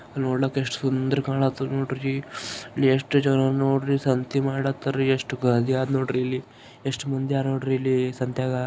ನೋಡ್ಲಾಕ ಎಷ್ಟ್ ಸುಂದ್ರ ಕಾಣತಧ್ ನೋಡ್ರಿ ಎಷ್ಟ್ ಜನ ನೋಡ್ರಿ ಸಂತಿ ಮಾಡತಾರಿ ಎಷ್ಟ್ ಗ ನೋಡ್ರಿ. ಎಷ್ಟ್ ಮಂದಿ ಅರ ನೋಡ್ರಿ ಇಲ್ಲಿ ಸಂತ್ಯಾಗ.